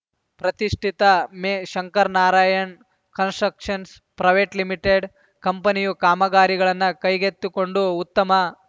ಪ್ರತಿಷ್ಠಿತ ಮೆ Shankaranarayana constructions private limited ಕಂಪನಿಯವರು ಕಾಮಗಾರಿಗಳನ್ನು ಕೈಗೆತ್ತಿಕೊಂಡು ಉತ್ತಮ